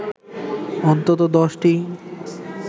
অন্তত ১০টি